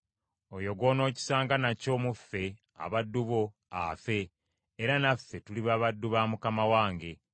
Oyo gw’onookisanga nakyo mu ffe abaddu bo, afe, era naffe tuliba baddu ba mukama wange.”